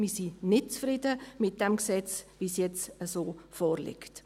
Wir sind nicht zufrieden mit diesem Gesetz, wie es jetzt vorliegt.